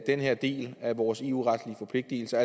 den her del af vores eu retlige forpligtelser